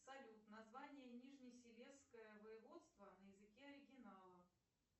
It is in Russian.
салют название нижнесилезское воеводство на языке оригинала